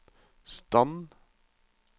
stand